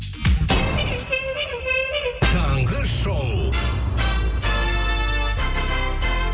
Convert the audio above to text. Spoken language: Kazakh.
таңғы шоу